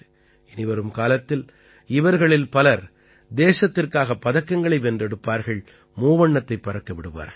இனிவரும் காலத்தில் இவர்களில் பலர் தேசத்திற்காக பதக்கங்களை வென்றெடுப்பார்கள் மூவண்ணத்தைப் பறக்க விடுவார்கள்